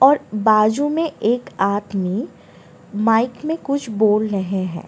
और बाजू में एक आदमी माइक में कुछ बोल रहे हैं।